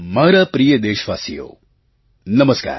મારા પ્રિય દેશવાસીઓ નમસ્કાર